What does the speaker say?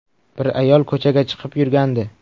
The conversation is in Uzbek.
Bir ayol ko‘chaga chiqib yurgandi.